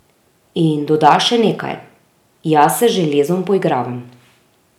In doda še nekaj: 'Jaz se z železom poigravam.